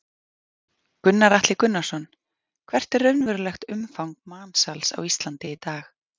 Gunnar Atli Gunnarsson: Hvert er raunverulegt umfang mansals á Íslandi í dag?